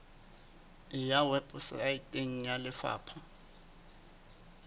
e ya weposaeteng ya lefapha